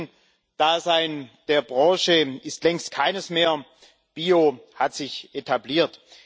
Das Nischendasein der Branche ist längst keines mehr. Bio hat sich etabliert.